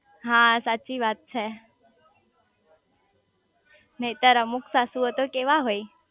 હા સાચી વાત છે નઈતર અમુક સાસુઓ તો કેવા હોય